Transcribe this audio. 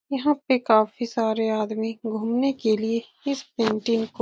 यहाँ पे काफी सारे आदमी घूमने के लिए इस पेन्टिन को --